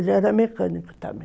Ele era mecânico